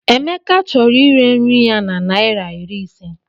Emeka chọrọ ire nri ya na naira iri ise.